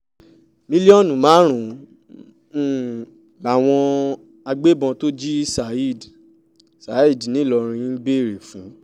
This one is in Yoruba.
mílíọ̀nù márùn-ún làwọn agbébọ̀n tó jí saheed saheed ńìlọrin ń béèrè fún